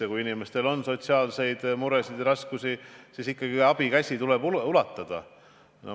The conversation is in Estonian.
Ja kui inimestel on sotsiaalseid muresid ja raskusi, siis abikäsi tuleb ulatada.